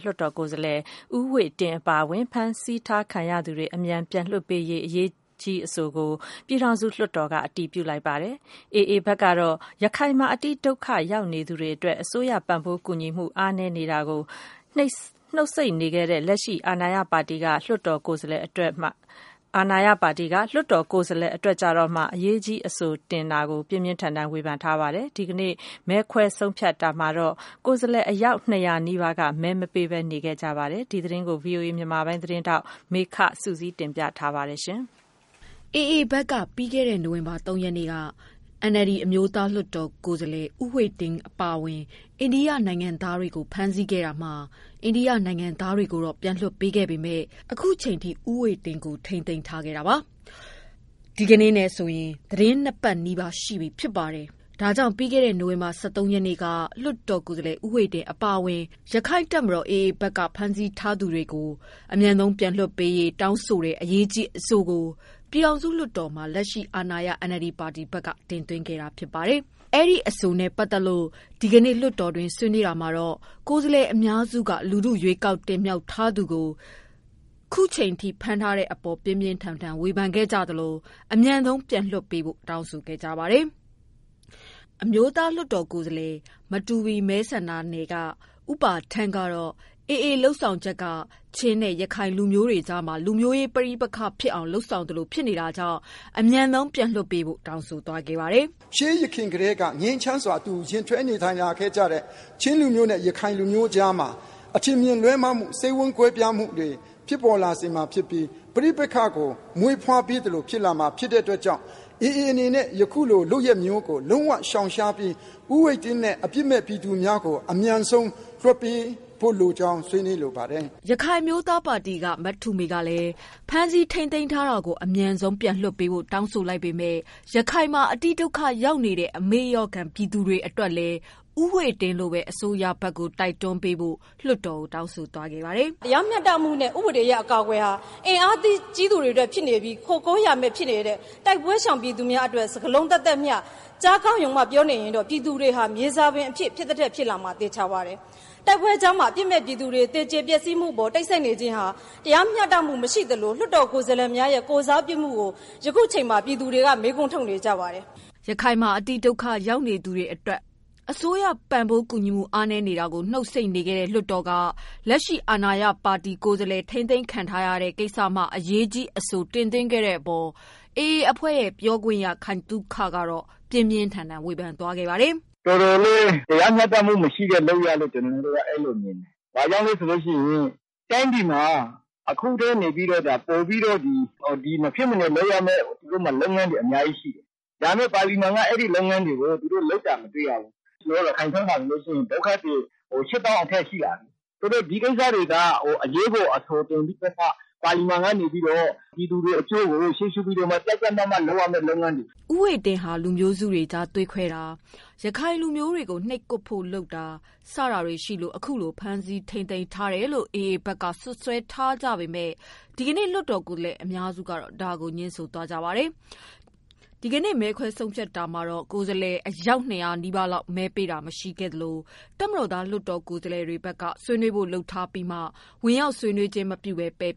လွှတ်တော်ကိုယ်စားလှယ် ဦးဝှေ့တင်း အပါအဝင် ရက္ခိုင့်တပ်မတော် AA ဘက်က ဖမ်းဆီးထားသူတွေ အမြန်ပြန်လွှတ်ပေးရေး တောင်းဆိုတဲ့ အရေးကြီးအဆိုကို ပြည်ထောင်စုလွှတ်တော်က အတည်ပြု လိုက်ပါတယ်။ AA ဘက်ကတော့ ရခိုင်မှာ အတိဒုက္ခရောက်နေသူတွေ အတွက် အစိုးရပံ့ပိုးကူညီမှု အားနည်းနေတာကို နှုတ်ဆိတ်နေခဲ့တဲ့ လွှတ်တော်က လက်ရှိ အာဏာရပါတီ ကိုယ်စားလှယ် အတွက်မှ အရေးကြီး အဆို တင်တဲ့အပေါ် ပြင်းပြင်းထန်ထန်ဝေဖန်လိုက်ပါတယ်။ ဒီကနေ့မဲခွဲဆုံးဖြတ် တာမှာတော့ ကိုယ်စားလှယ် အယောက် ၂၀၀နီးပါးက မဲမပေးဘဲ နေခဲ့ကြပါတယ်။ ဒီသတင်းကို ဗွီအိုအေ မြန်မာပိုင်း သတင်းထောက်မေခစုစည်းတင်ပြထားပါတယ်။ AA ဘက်က ပြီးခဲ့တဲ့ နိုဝင်ဘာလ၃ရက်က NLD အမျိုးသားလွှတ်တော်အမတ် ဦးဝှေ့ တင်းအပါအဝင် အိန္ဒိယနိုင်ငံသားတွေကို ဖမ်းဆီးခဲ့တာမှာ အိန္ဒိယနိုင်ငံသားတွေကို လွှတ်ပေးခဲ့ပေမယ့် ခုချိန်ထိ ဦးဝှေ့တင်းကို ထိန်းသိမ်းထားတာ အခုဆိုရင် သီတင်းနှစ်ပတ် ရှိပြီဖြစ်ပါတယ်။ ဒါကြောင့် ပြီးခဲ့တဲ့ နိုဝင်ဘာ ၁၃ရက်နေ့က လွှတ်တော်ကိုယ်စား လှယ် ဦးဝှေ့တင်း အပါအဝင် ရက္ခိုင့်တပ်မတော် AA ဘက်က ဖမ်းဆီးထားသူတွေ အမြန်ပြန်လွှတ်ပေးရေး တောင်းဆိုတဲ့ အရေးကြီးအဆိုကို ပြည်ထောင်စုလွှတ်တော်မှာ လက်ရှိ အာဏာရ NLD ပါတီဘက်က တင်သွင်းခဲ့တာဖြစ်ပါတယ်။ အဲဒီအဆိုနဲ့ ပတ်သတ်လို့ ဒီကနေ့ လွှတ်တော်တွင်းဆွေးနွေးတာမှာ ကိုယ်စားလှယ် အများစုက လူထု ရွေးကောက်တင်မြောက်ထားသူကို ခုချိန်ထိ ဖမ်းထားတဲ့အပေါ် ပြင်းပြင်းထန်ထန် ဝေဖန်ခဲ့သလို အမြန်ဆုံး ပြန်လွှတ်ဖို့တောင်းဆိုခဲ့ကြပါတယ်။ အမျိုးသားလွှတ်တော်ကိုယ်စားလှယ် မတူပီမဲဆန္ဒနယ်က ဦးပါထန်းကတော့ AA လုပ်ဆောင်ချက်က ချင်းနဲ့ ရခိုင် လူမျိုးတွေကြားမှာ လူမျိုးရေးပဋိပက္ခဖြစ်အောင် လုပ်သလိုဖြစ်နေတာကြောင့် အမြန်ဆုံး ပြန်လွှတ်ပေးဖို့ တောင်းဆိုခဲ့ပါတယ်။ “ရှေးယခင်ကတည်းက ငြိမ်းချမ်းစွာ အတူယှဉ်တွဲနေထိုင်ခဲ့ကြတဲ့ ချင်းလူမျိုးနဲ့ ရခိုင်လူမျိုးကြားမှာ အထင်အမြင်လွဲမှားမှု ၊ စိတ်ဝမ်းကွဲပြားမှှု တွေ ဖြစ်ပေါ်လာစေမှာဖြစ်ပြီး ပဋိပက္ခကို မွေးဖွားပေးသလို ဖြစ်လာမှာ ဖြစ်တဲ့အတွက်ကြောင့် AA အနေနဲ့ ယခုလို လုပ်ရပ်မျိုးကို လုံးဝရှောင်ရှားပြီး ဦးဝှေ့တင်းနဲ့ အပြစ်မဲ့ပြည်သူများကို အမြန်ဆုံး လွှတ်ပေးဖို့ လိုကြောင်း ဆွေးနွေးလိုပါတယ်။” ရခိုင်အမျိုးသားပါတီက မထုမေကလည်း ဖမ်းဆီးထိန်းသိမ်းထားတာ အမြန်ဆုံးလွှတ်ပေးဖို့ တောင်းဆို လိုက်ပေမယ့် ရခိုင်မှာ အတိဒုက္ခရောက်နေတဲ့ အမေ့လျော့ခံ ပြည်သူတွေအတွက်လည်း ဦးဝှေ့တင်း လိုဘဲ အစိုးရဘက်ကို တိုက်တွန်းပေးဖို့ ပြောဆိုလိုက်ပါတယ်။ “ တရားမျှတမှုနဲ့ ဥပဒေအရ အကာအကွယ်ဟာ အင်အားကြီးသူတွေအတွက် ဖြစ်နေပြီး ၊ ခိုကိုးယာမဲ့ ဖြစ်နေတဲ့ တိုက်ပွဲရှောင်ပြည်သူတွေအတွက် စကားလုံး သပ်သပ်မျှ ကြားကောင်း ရုံဘဲ ပြောနေရင်တော့ ပြည်သူတွေဟာ မြေစာပင်ဖြစ်သထက်ဖြစ်လာမှာ သေချာပါတယ်။ တိုက်ပွဲအကြားမှာ အပြစ်မဲ့ ပြည်သူတွေ သေကြေပျက်စီးမှု ကို တိတ်ဆိတ်နေခြင်းဟာ တရားမျှတမှု မရှိသလို လွှတ်တော်ကိုယ်စားလှယ်များရဲ့ ကိုယ်စားပြုမှုကို ယခုအချိန်မှာ ပြည်သူတွေက မေးခွန်းထုတ်နေကြပါတယ်။” ရခိုင်မှာ အတိဒုက္ခရောက်နေသူတွေ အတွက် အစိုးရပံ့ပိုးကူညီမှု အားနည်းနေတာကို နှုတ်ဆိတ်နေခဲ့တဲ့ လွှတ်တော်က လက်ရှိ အာဏာရပါတီ ကိုယ်စားလှယ် ထိန်းသိမ်း ခံထားရတဲ့ကိစ္စကျမှ အရေးကြီးအဆို တင်သွင်းခဲ့တဲ့အပေါ် AA အဖွဲ့ရဲ့ ပြောခွင့်ရ ခိုင်သုခက ပြင်းပြင်းထန်ထန် ဝေဖန်လိုက်ပါတယ်။ “တော်တော်လေး တရားမျှတမှုမရှိတဲ့လုပ်ရပ်လို့မြင်တယ်။ ဘာကြောင့်လဲဆိုတော့ တိုင်းပြည်မှာ အခုထက် ပိုပြီးတော့ မဖြစ်မနေ လုပ်ရမယ့် ၊ လုပ်ငန်းတွေအများကြီးရှိတယ်။ ဒါနဲ့ ပါတီမှာက အဲဒီလုပ်ငန်းတွေကို လုပ်တာမတွေ့ရဘူး။ ဆိုတော့ ရခိုင်ဘက်မှာ ဒုက္ခသည် ၈၀၀၀၀ အထက်ရှိတာ ။ ဆိုတော့ ဒီကိစ္စတွေက အရေးပေါ်အဆိုတင်ပြီးတော့ ပြည်သူတွေအကျိုးကို ရှေးရှုပြီးတော့ လုပ်ရမယ့်လုပ်ငန်းတွေ။” ဦးဝှေ့တင်းဟာ လူမျိုးစုတွေကြား သွေးခွဲတာ၊ ရခိုင်လူမျိုးတွေကို နှိပ်ကွပ်ဖို့လုပ်ဆောင်တာ တွေရှိလို့ အခုလိုထိန်းသိမ်းထားတာလို့ AA ဘက်က စွပ်စွဲထားပေမယ့် ဒီကနေ့ လွှတ်တော်ကိုယ်စားလှယ် အများစုက ဒါကို ငြင်းဆိုပါတယ်။ ဒီကနေ့ မဲခွဲဆုံးဖြတ်တာမှာတော့ ကိုယ်စားလှယ် ၂၀၀နီးပါး မဲပေးတာမရှိခဲ့သလို တပ်မတော်သားကိုယ်စားလှယ်တွေဘက်က ဆွေးနွေးဖို့လုပ်ထားပြီးမှ ဝင်ရောက်ဆွေးနွေးခြင်း မပြုဘဲ ပယ်